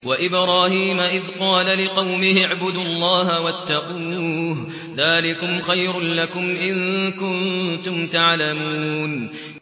وَإِبْرَاهِيمَ إِذْ قَالَ لِقَوْمِهِ اعْبُدُوا اللَّهَ وَاتَّقُوهُ ۖ ذَٰلِكُمْ خَيْرٌ لَّكُمْ إِن كُنتُمْ تَعْلَمُونَ